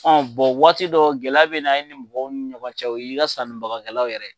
waati dɔ gɛlɛya bɛ na i ni mɔgɔw ni ɲɔgɔn cɛ o y'i ka sanni bagakɛlaw yɛrɛ